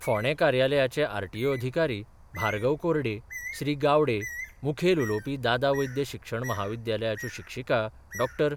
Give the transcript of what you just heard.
फोंडें कार्यालयाचे आरटीओ अधिकारी भार्गव कोरडे, श्री गावडे, मुखेल उलोवपी दादा वैद्य शिक्षण म्हाविद्यालयाच्यो शिक्षीका डॉ.